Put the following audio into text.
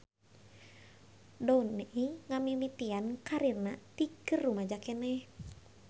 Downey ngamimitian karirna ti keur rumaja keneh.